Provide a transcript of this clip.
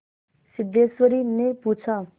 सिद्धेश्वरीने पूछा